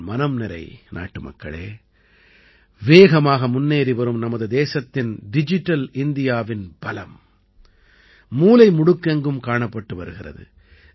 என் மனம் நிறை நாட்டுமக்களே வேகமாக முன்னேறி வரும் நமது தேசத்தின் டிஜிட்டல் இந்தியாவின் பலம் மூலை முடுக்கெங்கும் காணப்பட்டு வருகிறது